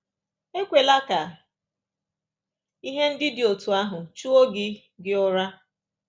Ekwela ka ihe ndị dị otú ahụ chụo gị gị ụra.